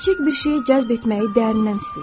Kiçik bir şeyi cəzb etməyi dərindən istəyin.